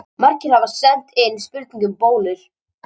Margir hafa sent inn spurningu um bólur.